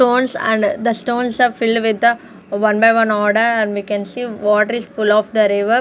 stones and the stones are filled with the one by one order and we can see water is full of the river.